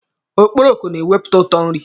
Okporoko na-ewepụta ụtọ nri.